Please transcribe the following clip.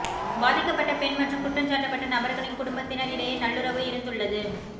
பாதிக்கப்பட்ட பெண் மற்றும் குற்றஞ்சாட்டப்பட்ட நபர்களின் குடும்பத்தினர் இடையே நல்லுறவு இருந்துள்ளது